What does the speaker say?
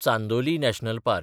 Chandoli national park